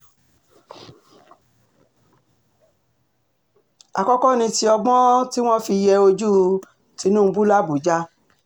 àkọ́kọ́ ni ti ọgbọ́n tí um wọ́n fi yé ojú um tìǹbù làbájá